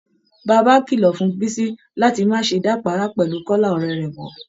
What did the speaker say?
Baàbá kìlọ̀ fún bísí láti má ṣe dàpàárá pẹ̀lú kọ́lá ọ̀rẹ́ rẹ̀ mọ́